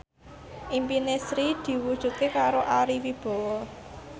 impine Sri diwujudke karo Ari Wibowo